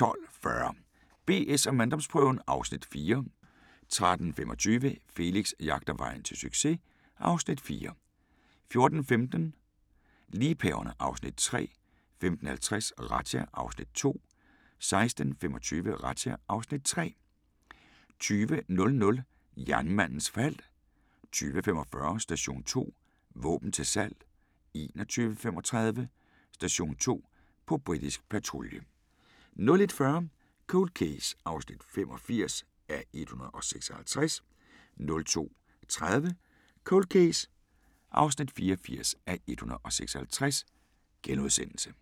12:40: BS & manddomsprøven (Afs. 4) 13:25: Felix jagter vejen til succes (Afs. 4) 14:15: Liebhaverne (Afs. 3) 15:50: Razzia (Afs. 2) 16:25: Razzia (Afs. 3) 20:00: Jernmandens fald 20:45: Station 2: Våben til salg 21:35: Station 2: På britisk patrulje 01:40: Cold Case (85:156) 02:30: Cold Case (84:156)*